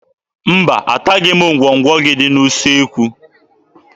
Mba, ataghị m ngwọngwọ gị dị n'usekwu.